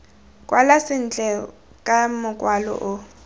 kwala sentle ka mokwalo o